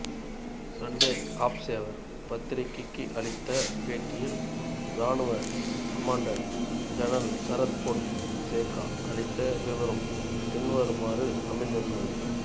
Sunday Observer பத்திரிகைக்கு அளித்த பேட்டியில் இராணுவக் commander general Sarath Fonseka அளித்த விபரம் பின்வருமாறு அமைந்திருந்தது